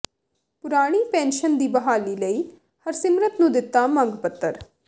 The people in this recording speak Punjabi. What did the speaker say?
ਪੁਰਾਣੀ ਪੈਨਸ਼ਨ ਦੀ ਬਹਾਲੀ ਲਈ ਹਰਸਿਮਰਤ ਨੂੰ ਦਿੱਤਾ ਮੰਗ ਪੱਤਰ